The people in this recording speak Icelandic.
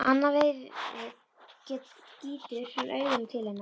Annað veifið gýtur hann augunum til hennar.